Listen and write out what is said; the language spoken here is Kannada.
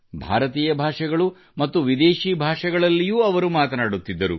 ಭಾರತೀಯ ಹಾಗೆಯೇ ವಿದೇಶಿ ಭಾಷೆಗಳಲ್ಲಿಯೂ ಅವರು ಮಾತನಾಡುತ್ತಿದ್ದರು